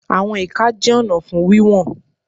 Àwọn ìka jẹ́ ọ̀nà fún wíwọ̀n.